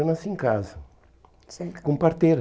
Eu nasci em casa, nasceu em casa, com parteira.